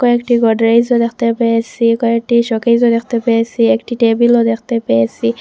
কয়েকটি গোদরেজ -ও দেখতে পেয়েসি কয়েকটি শোকেস -ও দেখতে পেয়েসি একটি টেবিল -ও দেখতে পেয়েসি।